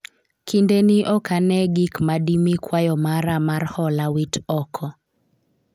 kinde ni ok ane gik ma dimi kwayo mara mar hola wit oko